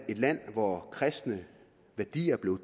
et land hvor kristne værdier blev